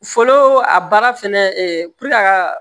Fɔlɔ a baara fɛnɛ a ka